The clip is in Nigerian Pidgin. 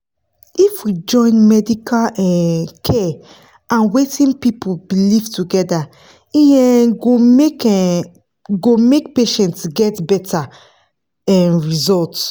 if we fit join medical um care and wetin people believe together e um go make um go make patients get better um result